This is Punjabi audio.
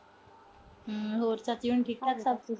ਹੂੰ ਸਭ ਕਿਵੇਂ। ਠੀਕ-ਠਾਕ ਸਭ ਕੁਛ।